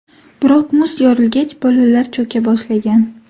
Biroq muz yorilgach, bolalar cho‘ka boshlagan.